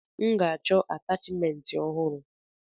M ga-achọ atachimentị ọhụrụ.